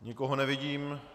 Nikoho nevidím.